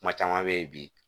Kuma caman bɛ ye bi